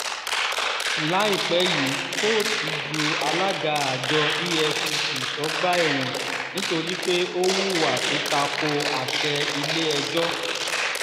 láìpẹ́ yìí kóòtù ju alága àjọ efcc sọ́gbà ẹ̀wọ̀n nítorí pé ó hùwà tó ta ko àṣẹ ilé-ẹjọ́